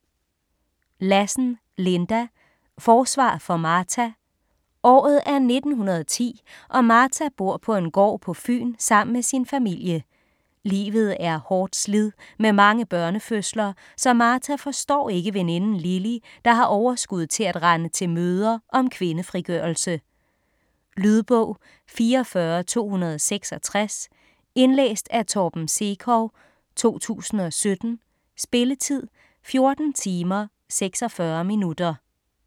Lassen, Linda: Forsvar for Martha Året er 1910 og Martha bor på en gård på Fyn sammen med sin familie. Livet er hårdt slid med mange børnefødsler, så Martha forstår ikke veninden Lily, der har overskud til at rende til møder om kvindefrigørelse. Lydbog 44266 Indlæst af Torben Sekov, 2017. Spilletid: 14 timer, 46 minutter.